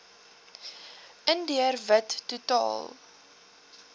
indiër wit totaal